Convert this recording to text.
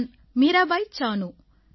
நான் மீராபாய் சானூ